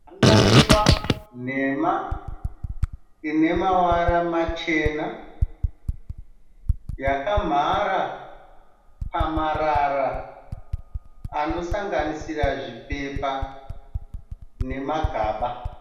Hangaiwa nhema ine mavara machena, yakamhara pamarara anosanganisira zvipepa nemagaba.